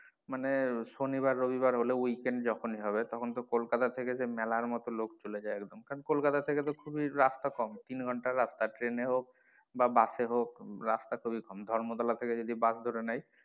মানে সনিবার রবিবার হলে weekend যখনি হবে তখন তো কোলকাতা থেকে যে মেলার মতো লোক চলে যায় কারন কোলকাতা থেকে তো খুবই রাস্তা কম তিন ঘণ্টার রাস্তা train এ হোক বা bus এ হোক রাস্তা খুবই কম ধর্মতলা থেকে যদি bus ধরে নেই,